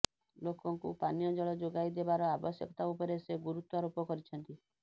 ଲୋକଙ୍କୁ ପାନୀୟ ଜଳ ଯୋଗାଇ ଦେବାର ଆବଶ୍ୟକତା ଉପରେ ସେ ଗୁରୁତ୍ୱାରୋପ କରିଛନ୍ତି